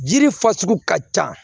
Jiri fasugu ka ca